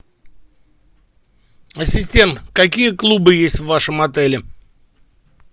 ассистент какие клубы есть в вашем отеле